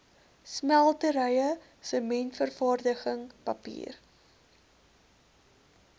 smelterye sementvervaardiging papier